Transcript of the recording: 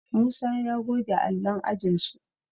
Musa ya goge allon ajinsu